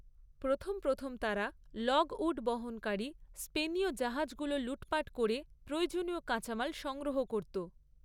প্রথম প্রথম তারা লগউড বহনকারী স্পেনীয় জাহাজগুলো লুটপাট করে প্রয়োজনীয় কাঁচামাল সংগ্রহ করত।